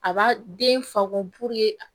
A b'a den fako a